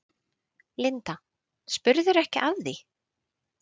Linda: Spurðirðu ekki af því?